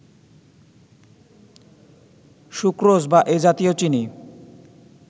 sucrose বা এ জাতীয় চিনি